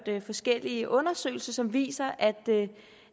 forskellige undersøgelser som viser at